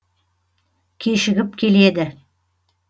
кешігіп келеді